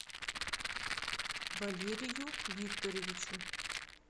валерию викторовичу